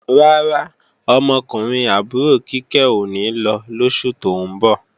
Rárá, ọmọkùnrin àbúrò Kíkẹ́ ò ní lọ lóṣù tó ń bọ̀